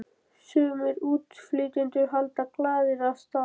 Sumir útflytjendur halda glaðir af stað.